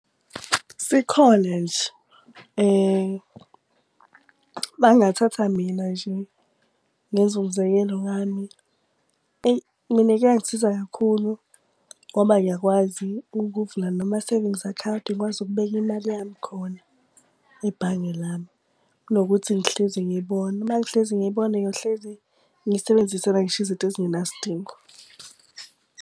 Sikhona nje. Uma ngathatha mina nje ngenze umzekelo ngami, eyi mina kuyangisiza kakhulu ngoba ngiyakwazi ukuvula noma-savings account ngikwazi ukubeka imali yami khona ebhange lami kunokuthi ngihlezi ngiyibona. Uma ngihlezi ngiyibona ngiyohlezi ngiyisebenzisela ngisho izinto ezingenasidingo.